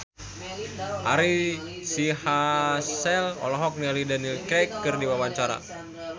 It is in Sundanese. Ari Sihasale olohok ningali Daniel Craig keur diwawancara